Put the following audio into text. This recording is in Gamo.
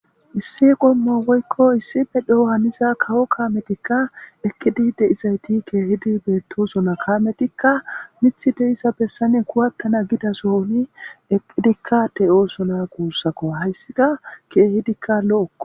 issi qommo woykko issife dhe7o haniza kawo kaametikka eqqidi de isayti keehidi beetto suna kaametikka mithi deissa bessane kuwattana gida sooni eqqidikka de7o suna kuussakko hayssika keehidikka lo7okko